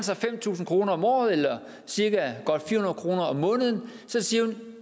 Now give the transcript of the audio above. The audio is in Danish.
fem tusind kroner om året eller godt fire kroner om måneden siger hun